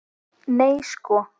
Nei sko!